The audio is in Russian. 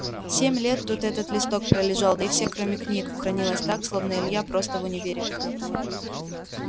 семь лет тут этот листок пролежал да и все кроме книг хранилось так словно илья просто в универе